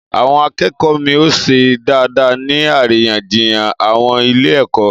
Àwon akékòó mi ò ṣe dáadáa ní àríyànjiyàn àwon ilé èkó